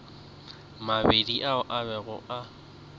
mabedi ao a bego a